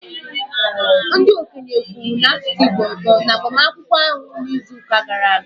Ndị okenye kwuru n'asụsụ Igbo ọzọ n'agbamakwụkwọ ahụ n'izuụka gara aga